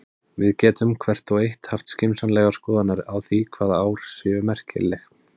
Við getum, hvert og eitt, haft skynsamlegar skoðanir á því hvaða ár séu merkileg.